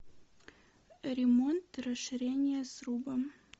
ремонт расширение сруба